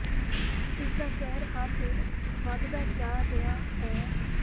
ਇਸ ਦਾ ਕਹਿਰ ਹਰ ਦਿਨ ਵਧਦਾ ਜਾ ਰਿਹਾ ਹੈ